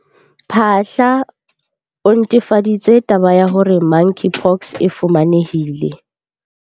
Phaahla, o netefaditse taba ya hore Monkeypox e fumanehile.